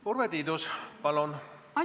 Urve Tiidus, palun!